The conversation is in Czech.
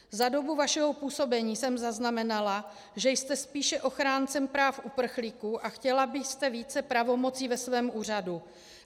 Za dobu vašeho působení jsem zaznamenala, že jste spíše ochráncem práv uprchlíků a chtěla byste více pravomocí ve svém úřadu.